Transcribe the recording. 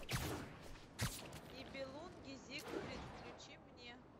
нибелунги зигфрид включи мне